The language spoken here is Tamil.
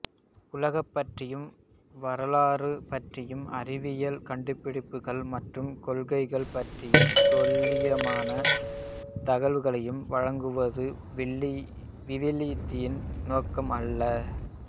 உலகு பற்றியும் வரலாறு பற்றியும் அறிவியல் கண்டுபிடிப்புகள் மற்றும் கொள்கைகள் பற்றியும் துல்லியமான தகவல்களை வழங்குவது விவிலியத்தின் நோக்கம் அல்ல